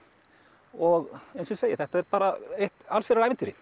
og eins og ég segi þetta er bara eitt allsherjar ævintýri